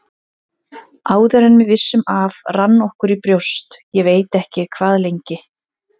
Áður en við vissum af rann okkur í brjóst, ég veit ekki hvað lengi.